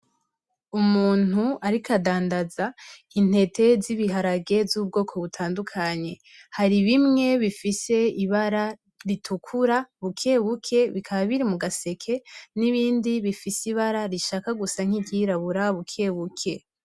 Umuntu, ariko adandaza intete z'ibiharage z'ubwoko butandukanye hari bimwe bifise ibara ritukura bukewuke bikaba biri mu gaseke n'ibindi bifise ibara rishaka gusa nk'iryirabura bukewuke.